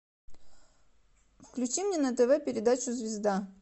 включи мне на тв передачу звезда